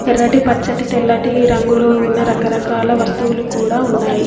ఎర్రటి పచ్చటి తెల్లటి రంగులు ఉన్న రకరకాల వస్తువులు కూడా ఉన్నాయి.